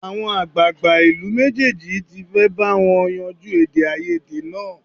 Àwọn àgbààgbà ìlú méjèèjì tí fẹ́ bá wọn yanjú èdèàìyedè náà